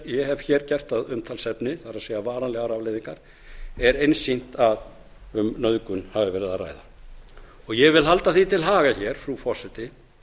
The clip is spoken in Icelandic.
ég hef hér gert að umtalsefni það er varanlegar afleiðingar er einsýnt að um nauðgun hafi verið að ræða ég vil halda því til haga hér frú forseti